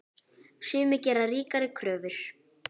Sumir gera ríkari kröfur.